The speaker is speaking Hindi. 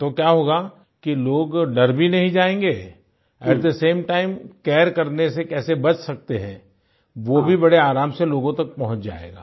तो क्या होगा कि लोग डर भी नहीं जायेंगे at the same time care करने से कैसे बच सकते हैं वो भी बड़े आराम से लोगों तक पहुँच जायेगा